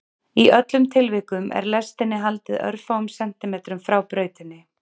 Í öllum tilvikum er lestinni haldið örfáum sentímetrum frá brautinni.